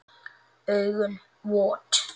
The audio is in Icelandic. Augun vot.